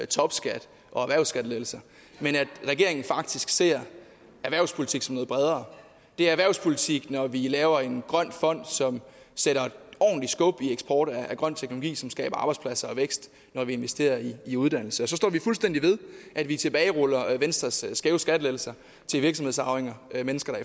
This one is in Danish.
topskat og erhvervsskattelettelser men at regeringen faktisk ser erhvervspolitik som noget bredere det er erhvervspolitik når vi laver en grøn fond som sætter et ordentligt skub i eksporten af grøn teknologi som skaber arbejdspladser og vækst når vi investerer i uddannelse så står vi fuldstændig ved at vi tilbageruller venstres skæve skattelettelser til virksomhedsarvinger mennesker